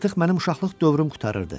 Artıq mənim uşaqlıq dövrüm qurtarırdı.